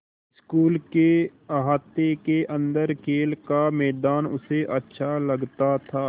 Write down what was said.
school के अहाते के अन्दर खेल का मैदान उसे अच्छा लगता था